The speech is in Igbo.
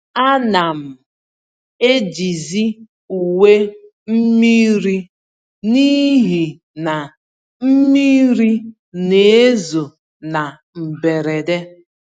Ánám eji zi uwe mmiri n'ihi na mmiri n'ezo na mberede,